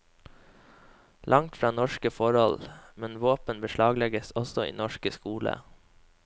Langt fra norske forhold, men våpen beslaglegges også i norsk skole.